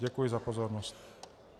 Děkuji za pozornost.